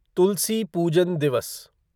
तुलसी पूजन दिवस